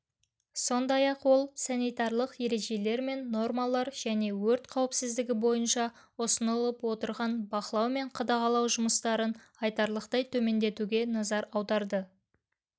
сондай-ақ ол санитарлық ережелер мен нормалар және өрт қауіпсіздігі бойынша ұсынылып отырған бақылау мен қадағалау жұмыстарын айтарлықтай төмендетуге назар аударды